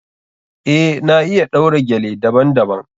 Eh, na iya ɗaura gele daban- daban.